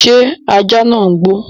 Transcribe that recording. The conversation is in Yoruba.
ṣé ajá nàá ń gbó?